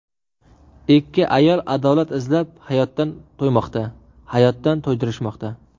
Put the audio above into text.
Ikki ayol adolat izlab hayotdan to‘ymoqda, hayotdan to‘ydirishmoqda.